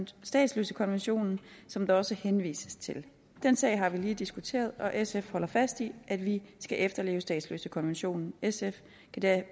statsløsekonventionen som der også henvises til den sag har vi lige diskuteret og sf holder fast i at vi skal efterleve statsløsekonventionen sf kan